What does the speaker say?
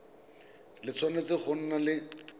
le tshwanetse go nna le